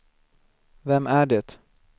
vem är det